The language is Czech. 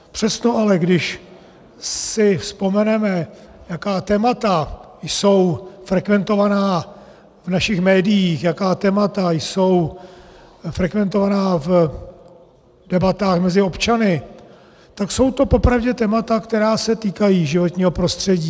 Přesto ale, když si vzpomeneme, jaká témata jsou frekventovaná v našich médiích, jaká témata jsou frekventovaná v debatách mezi občany, tak jsou to popravdě témata, která se týkají životního prostředí.